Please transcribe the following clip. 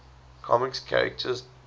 comics characters debuts